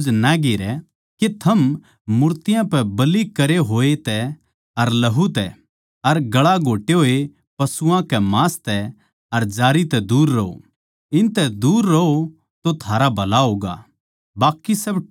के थम मूर्तियाँ पै बलि करे होया तै अर लहू तै अर गळा घोट्टे होए पशुआं के मांस तै अर जारी तै दूर रहो इनतै दूर रहो तो थारा भला होगा बाकी सब ठीकठाक सै